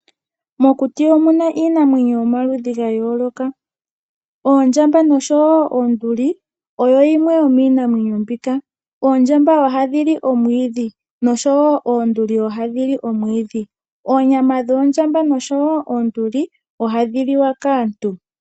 Mokuti omuna iinamwenyo yomaludhi ga yooloka, oondjamba noshowo oonduli oyo yimwe yomiinamwenyo mbika. Oondjamba ohadhi li omwiidhi noshowo oonduli ohadhi li omwiidhi. Oonyama dhoondjamba noshowo oonduli, ohadhi liwa kaantu.